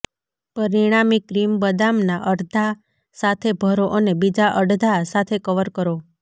પરિણામી ક્રીમ બદામના અર્ધા સાથે ભરો અને બીજા અડધા સાથે કવર કરો